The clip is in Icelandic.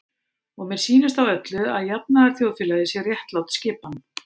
Og mér sýnist á öllu, að jafnaðarþjóðfélagið sé réttlát skipan.